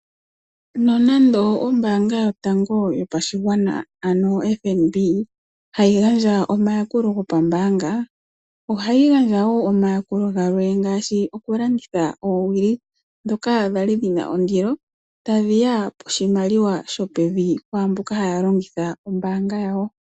Nonando ombaanga yotango yopashigwana ano oFNB hayi gandja omayakulo gopambaanga ohayi gandja wo omayakulo gamwe ngaashi oowili dhoka dhali dhina ondilo nohayedhi gandja koshimaliwa shopevi kwaamboka haa longitha ombaanga yawo.